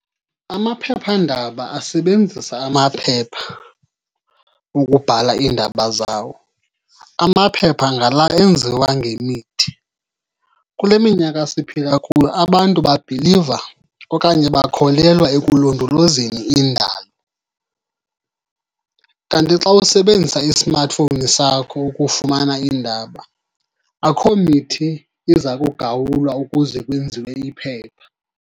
Amaphephandaba asebenzisa amaphepha ukubhala iindaba zawo. Amaphepha ngala enziwa ngemithi. Kule minyaka siphila kuyo abantu babhiliva okanye bakholelwa ekulondolozeni indalo. Kanti xa usebenzisa isimathifowuni sakho ukufumana iindaba akho mithi iza kugawulwa ukuze kwenziwe iphepha.